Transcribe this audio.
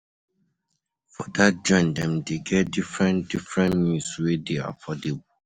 My friend dey recommend di food truck wey dey sell cheap food. um